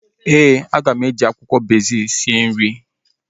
Ee, aga m e ji akwụkwọ rozmerị sie nri ahu